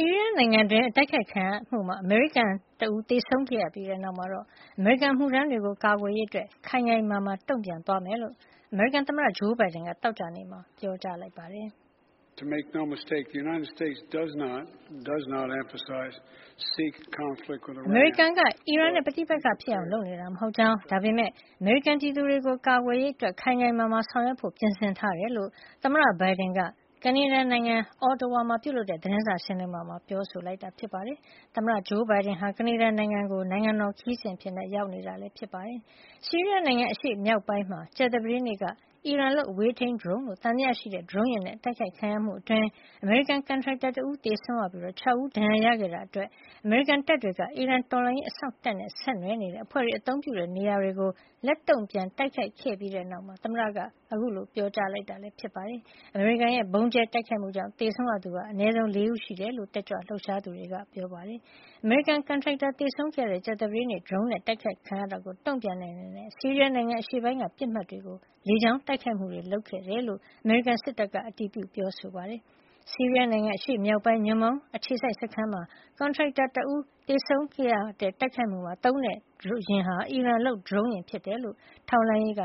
ီးရီးယား နိုင်ငံတွင်း တိုက်ခိုက်ခံရမှုမှာ အမေရိကန် တဦး သေဆုံးခဲ့ရပြီးနောက်မှာတော့ အမေရိကန် အမှုထမ်းတွေကို ကာကွယ်ရေး အတွက် ခိုင်ခိုင်မာမာ တုံ့ပြန်မယ်လို့ သမ္မတ Joe Biden က သောကြာနေ့မှာ ပြောဆိုလိုက်ပါတယ်။ " အမေရိကန်က အီရန်နဲ့ ပဋိပက္ခ ဖြစ်အောင်လုပ်နေတာ မဟုတ်ကြောင်း၊ ဒါပေမဲ့ အမေရိကန် ပြည်သူတွေကို ကာကွယ်ရေး ခိုင်ခိုင်မာမာ ဆောင်ရွက်ဖို့ ပြင်ဆင်ထားတယ်" လို့ သမ္မတ Biden က ကနေဒါ နိုင်ငံ Ottawa မှာ လုပ်တဲ့ သတင်းစာ ရှင်းလင်းပွဲမှာ ပြောဆိုခဲ့တာ ဖြစ်ပါတယ်။ သမ္မတ Biden က ကနေဒါ နိုင်ငံကို နိုင်ငံတော် ခရီးစဉ် အဖြစ် ရောက်ရှိနေတာ ဖြစ်ပါတယ်။ ဆီးရီးယား နိုင်ငံ အရှေ့မြောက်ပိုင်းမှာ ကြာသပတေးနေ့က အီရန်လုပ် အဝေးထိန်း ဒရုန်းလို့ သံသယ ရှိတဲ့ ဒရုန်းယာဉ်နဲ့ တိုက်ခိုက်ခံရမှု အတွင်း အမေရိကန် ကန်ရိုက်တာတဦး သေဆုံးပြီး ၆ ဦး ဒဏ်ရာရခဲတာအတွက်၊ အမေရိကန်တပ်တွေက အီရန် တော်လှန်ရေး အစောင့်တပ်နဲ့ ဆက်နွယ်နေတဲ့အဖွဲ့တွေ အသုံးပြုတဲ့ နေရာတွေကို လက်တုံ့ပြန် တိုက်ခိုက်ခဲ့ပြီးနောက် သမ္မတက အခုလို ပြောဆိုတာ ဖြစ်ပါတယ်။ အမေရိကန်ရဲ့ ဗုံးကြဲတိုက်ခိုက်မှုကြောင့် သေဆုံးသူက အနည်းဆုံး ၄ ဦး ရှိတယ်လို့လည်း တက်ကြွလှုပ်ရှားသူတွေက ပြောပါတယ်။ အမေရိကန် ကန်ထရိုက်တာ သေဆုံးခဲ့ရတဲ့ ကြာသပတေးနေ့ဒရုန်းယာဉ်နဲ့ အတိုက်ခိုက်ခံရတာကို တုံ့ပြန်တဲ့ အနေနဲ့ ဆီးရီးယားနိုင်ငံ အရှေ့ပိုင်းက ပစ်မှတ်တွေကို လေကြောင်း တိုက်ခိုက်မှုတွေ လုပ်ခဲ့တယ်လို့လည်း အမေရိကန် စစ်တပ်ကအတည်ပြုပါတယ်။ ဆီးရီးယားနိုင်ငံ အရှေ့မြောက်ပိုင်းက ညွှန့်ပေါင်း အခြေစိုက်စခန်းမှာ ကန်ရိုက်တာ ၁ ဦး သေဆုံးခဲ့ရတဲ့ တိုက်ခိုက်ခံရမှုမှာ သုံးတဲ့ယာဉ်ဟာ အီရန်လုပ်ဒရုန်းယာဉ် ဖြစ်ကြောင်း ထောက်လှမ်းရေးက